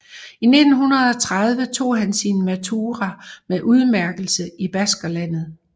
I 1930 tog han sin Matura med udmærkelse i Baskerlandet